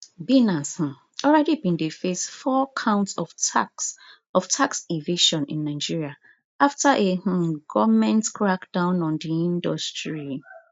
binance um already bin dey face four counts of tax of tax evasion in nigeria after a um goment crackdown on di industry